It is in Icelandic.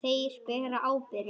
Þeir bera ábyrgð.